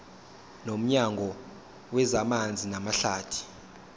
nomnyango wezamanzi namahlathi